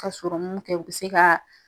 Ka sɔrɔmun kɛ u bɛ se ka